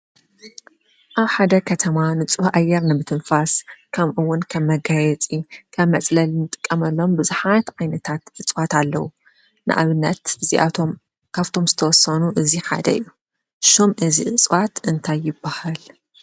ኣብ ሓደ ከተማ ንጹህ ኣየር ንምትንፋስ ከምኡውን ከም መጋየፂ ካብ መጽለልን ንጥቀመሎም ብዙሓት ዓይነታት እጽዋት ኣለዉ፡፡ ንኣብነት እዚኣቶም ካብቶም ዝተወሰኑ እዚ ሓደ እዩ፡፡ ሹም እዚ እጽዋት እንታይ ይበሃል?